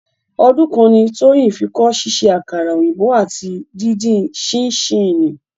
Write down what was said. Ọdún kan ni Tóyìn fi kọ́ ṣíṣe àkàrà òyìnbó àti díndín sininsínìnnì.